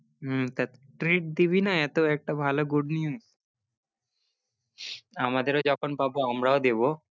হম তো treat দিবি না এতো একটা ভালো good news আমাদেরও যখন পাবো আমরাও দেবো।